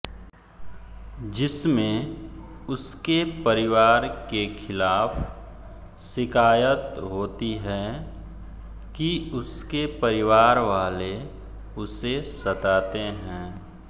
जिसमें उसके परिवार के खिलाफ शिकायत होती है कि उसके परिवार वाले उसे सताते हैं